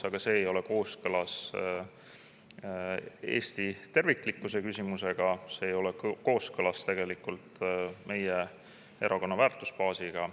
Aga see ei ole kooskõlas Eesti terviklikkuse küsimusega, see ei ole kooskõlas meie erakonna väärtusbaasiga.